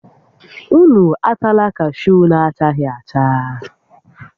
Ụnụ atala kashuu na-achaghị acha!